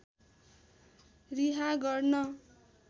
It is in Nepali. रिहा गर्न